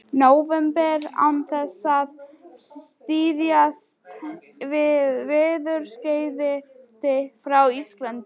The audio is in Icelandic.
nóvember án þess að styðjast við veðurskeyti frá Íslandi.